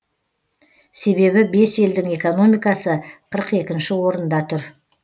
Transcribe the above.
себебі бес елдің экономикасы қырық екінші орында тұр